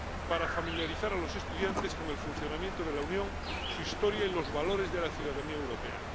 para familiarizar a los estudiantes con el funcionamiento de la Unión, su historia y los valores de la ciudadanía europea.